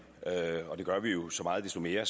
gør vi jo så meget desto mere